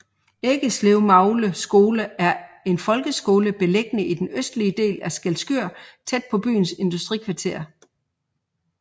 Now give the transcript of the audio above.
Eggeslevmagle skole er en folkeskole beliggende i den østlige del af Skælskør tæt på byens industrikvarter